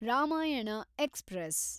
Ramayana express